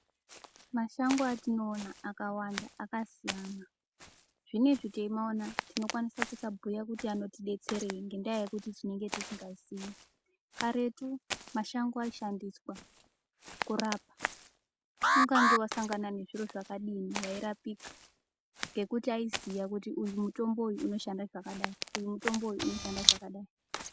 Mashango atinoona akawanda akasiyana zvinezvi teimaona tinokwanise kusabhuye kuti anotidetsereyi ngendayekuti tinenge tisingazi karetu mashango aishandiswa kurapa kungange wasangana nezviro zvakadii wairapika ngekuti aiziya kuti uyu mutombo uyu unoshanda zvakadzi uyu mutombo uyu unoshanda zvakadai.